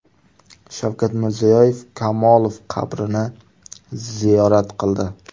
Shavkat Mirziyoyev Kamolov qabrini ziyorat qildi.